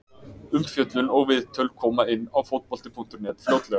Umfjöllun og viðtöl koma inn á Fótbolti.net fljótlega.